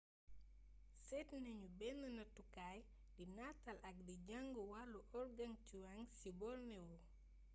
séét nañu benn nattukaay di nataal ak di jàng wàllu organgatuangs ci borneo